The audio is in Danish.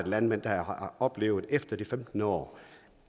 landmænd der har oplevet efter de femten år